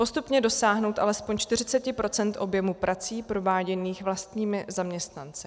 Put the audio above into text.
Postupně dosáhnout alespoň 40 % objemu prací prováděných vlastními zaměstnanci.